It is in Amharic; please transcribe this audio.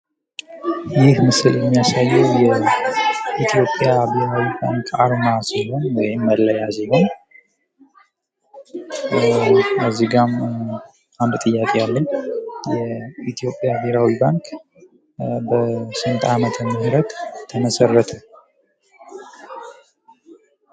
ይህ ምስል የሚያሳዬ የኢትዮጵያ ብሄራዊ ባንክ መለያ አርማ ሲሆን እዚህ ጋ አንድ ጥያቄ አለኝ። የኢትዮጵያ ብሄራዊ ባንክ በስንት አመተ-ምህረት ተመሰረተ?